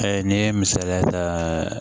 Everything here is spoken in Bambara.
n'i ye misaliya ta